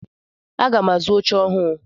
Aga m azu oche ọhụụ.